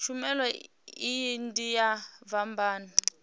tshumelo iyi ndi ya vhabvann